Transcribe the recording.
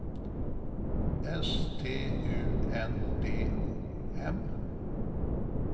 S T U N D O M